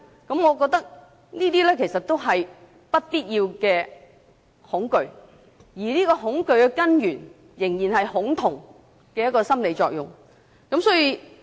我認為這些其實也是不必要的恐懼，而恐懼的根源仍然是恐同的心理作用。